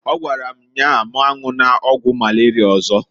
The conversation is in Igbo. Ọ gwara m nnyaa m anwụna ọgwụ malaria ọzọ.